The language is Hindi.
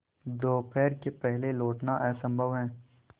दोपहर के पहले लौटना असंभव है